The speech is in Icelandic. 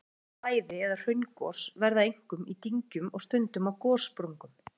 Eindregin flæði- eða hraungos verða einkum í dyngjum og stundum á gossprungum.